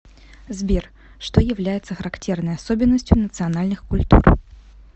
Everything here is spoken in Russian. сбер что является характерной особенностью национальных культур